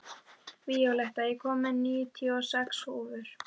Víóletta, ég kom með níutíu og sex húfur!